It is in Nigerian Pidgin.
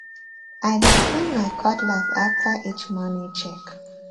i dey clean my cutlass after each morning check